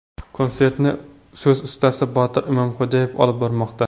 Konsertni so‘z ustasi Botir Imomxo‘jaev olib bormoqda.